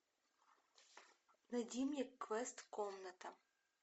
найди мне квест комната